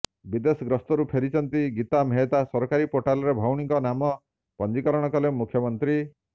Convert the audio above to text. ବିଦେଶଗସ୍ତରୁ ଫେରିଛନ୍ତି ଗୀତା ମେହଟ୍ଟା ସରକାରୀ ପୋର୍ଟାଲରେ ଭଉଣୀଙ୍କ ନାମ ପଞ୍ଜୀକରଣ କଲେ ମୁଖ୍ୟମନ୍ତ୍ରୀ